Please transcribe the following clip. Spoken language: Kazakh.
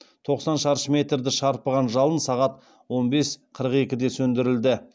тоқсан шаршы метрді шарпыған жалын сағат он бес қырық екіде сөндірілді